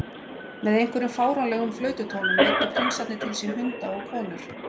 Með einhverjum fáránlegum flaututónum veiddu prinsarnir til sín hunda og konur.